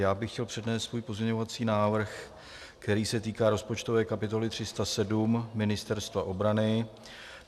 Já bych chtěl přednést svůj pozměňovací návrh, který se týká rozpočtové kapitoly 307 Ministerstva obrany.